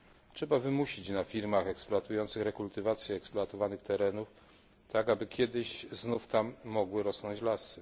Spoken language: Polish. Trzeba wymusić na firmach eksploatujących rekultywację eksploatowanych terenów, tak aby kiedyś znów tam mogły rosnąć lasy.